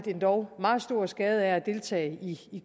endog meget stor skade af at deltage i